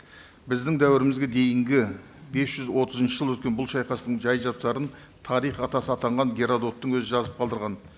біздің дәуірімізге дейінгі бес жүз отызыншы жылы өткен бұл шайқастың жай жапсарын тарих атасы атанған геродоттың өзі жазып қалдырған